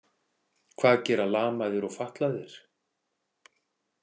Hvað gera lamaðir og fatlaðir?